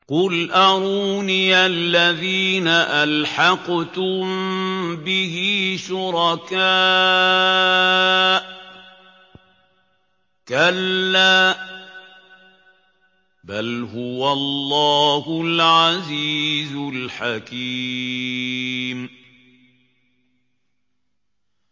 قُلْ أَرُونِيَ الَّذِينَ أَلْحَقْتُم بِهِ شُرَكَاءَ ۖ كَلَّا ۚ بَلْ هُوَ اللَّهُ الْعَزِيزُ الْحَكِيمُ